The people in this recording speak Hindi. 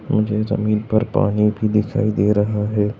और ये जमीन पर पानी भी दिखाई दे रहा है।